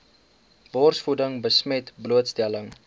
borsvoeding besmet blootstelling